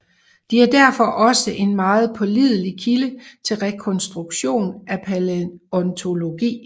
De er derfor også en meget pålidelig kilde til rekonstruktion af palæontologi